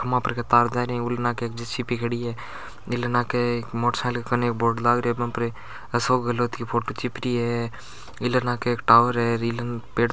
खम्बे पर के तार जा रहा है ए इल नाके एक जे सी बी खड़ी है इले नाके मोटरसाइकिल कने एक बोर्ड लाग रियो है उस पर अशोक गहलोत की फोटो चिप री है इले नाके एक टावर है इले पेड़ --